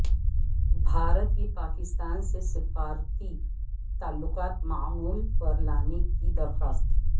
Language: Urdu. بھارت کی پاکستان سے سفارتی تعلقات معمول پر لانے کی درخواست